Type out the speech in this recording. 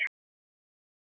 Báðar í svörtum sokkum.